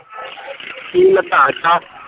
ਪੀਣ ਲੱਗਾ ਆਜਾ